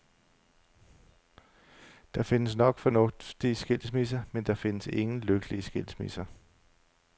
Der findes nok fornuftige skilsmisser, men der findes ingen lykkelige skilsmisser.